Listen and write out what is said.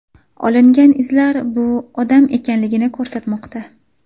Olingan izlar bu odam ekanligini ko‘rsatmoqda.